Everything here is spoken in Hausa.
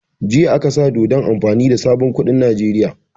Jiya aka sa dokan amfani da sabon kuɗin Nijeriya